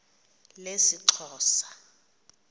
lesixhosa